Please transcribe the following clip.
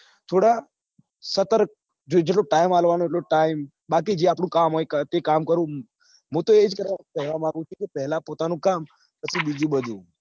થોડા સતર્ક જેટલો time આપવા નો એટલો time બાકી જે આપડું કામ હોય એ કામ કરું હું તો એ જ કેવા માંગું છું કે પેલા પોતાનું કામ પછી બીજું બધું